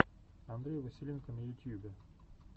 андрей василенко на ютьюбе